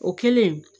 O kɛlen